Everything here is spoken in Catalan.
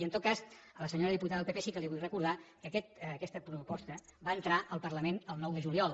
i en tot cas a la senyora diputada del pp sí que li vull recordar que aquesta proposta va entrar al parlament el nou de juliol